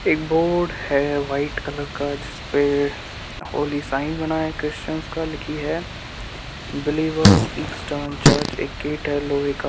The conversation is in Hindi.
एक बोर्ड हे वाईट कलर का जिस पे होली साइन बना है क्रिस्चन का लिखी है | बेलिवर्स इस ट्रांसजर्ट | एक गेट है लोहे का |